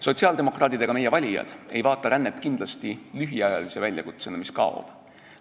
Sotsiaaldemokraadid ega meie valijad ei vaata rännet kindlasti lühiajalise väljakutsena, mis kaob.